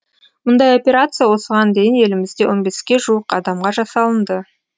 мұндай операция осыған дейін елімізде он беске жуық адамға жасалынды